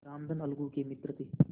रामधन अलगू के मित्र थे